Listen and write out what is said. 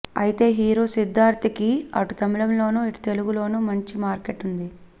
అయితే హీరో సిద్ధార్థ కి అటు తమిళంలోనూ ఇటు తెలుగు లోనూ మంచి మార్కెట్ ఉంది